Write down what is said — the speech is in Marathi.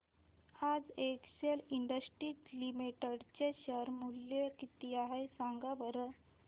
आज एक्सेल इंडस्ट्रीज लिमिटेड चे शेअर चे मूल्य किती आहे सांगा बरं